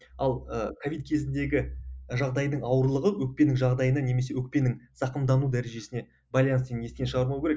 ал ы ковид кезіндегі жағдайдың ауырлығы өкпенің жағдайына немесе өкпенің зақымдану дәрежесіне байланысты естен шығармау керек